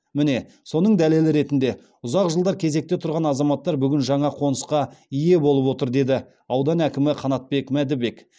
міне соның дәлелі ретінде ұзақ жылдар кезекте тұрған азаматтар бүгін жаңа қонысқа ие болып отыр деді аудан әкімі қанатбек мәдібек